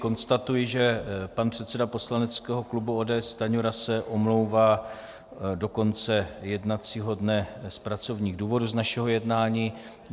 Konstatuji, že pan předseda poslaneckého klubu ODS Stanjura se omlouvá do konce jednacího dne z pracovních důvodů z našeho jednání.